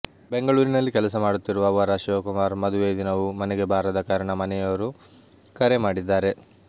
ಬೆಂಗಳೂರಿನಲ್ಲಿ ಕೆಲಸ ಮಾಡುತ್ತಿರುವ ವರ ಶಿವಕುಮಾರ್ ಮದುವೆ ದಿನವೂ ಮನೆಗೆ ಬಾರದ ಕಾರಣ ಮನೆಯವರು ಕರೆ ಮಾಡಿದ್ದಾರೆ